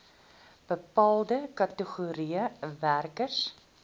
bepaalde kategorieë werkers